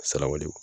Saraw de do